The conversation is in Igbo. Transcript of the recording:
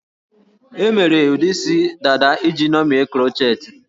E mere ụdị isi dada iji ṅomie krochetị